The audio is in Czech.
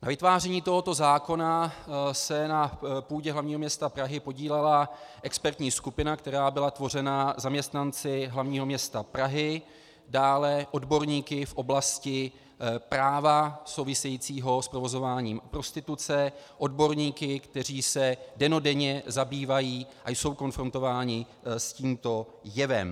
Na vytváření tohoto zákona se na půdě hlavního města Prahy podílela expertní skupina, která byla tvořena zaměstnanci hlavního města Prahy, dále odborníky v oblasti práva souvisejícího s provozováním prostituce, odborníky, kteří se dennodenně zabývají a jsou konfrontováni s tímto jevem.